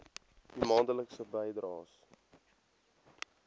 u maandelikse bydraes